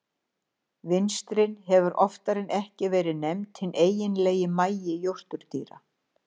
vinstrin hefur oftar en ekki verið nefnt hinn eiginlegi magi jórturdýra